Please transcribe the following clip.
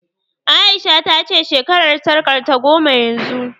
A'isha ta ce shekarar sarƙarta goma yanzu